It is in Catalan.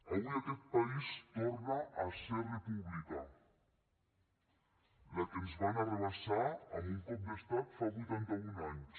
avui aquest país torna a ser república la que ens van arrabassar amb un cop d’estat fa vuitanta un anys